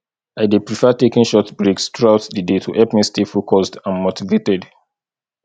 i dey prefer taking short breaks throughout the day to help me stay focused and motivated